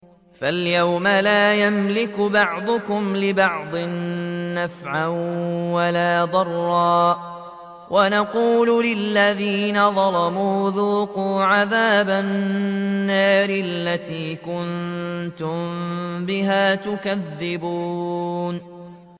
فَالْيَوْمَ لَا يَمْلِكُ بَعْضُكُمْ لِبَعْضٍ نَّفْعًا وَلَا ضَرًّا وَنَقُولُ لِلَّذِينَ ظَلَمُوا ذُوقُوا عَذَابَ النَّارِ الَّتِي كُنتُم بِهَا تُكَذِّبُونَ